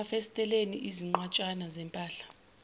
emafasiteleni izinqwatshana zempahla